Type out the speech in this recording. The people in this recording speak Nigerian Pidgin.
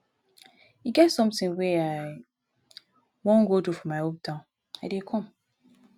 e get something wey i wan go do for my hometown i dey come